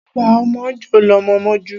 Agba ọmọ jọ́ lọmọ ń mojú.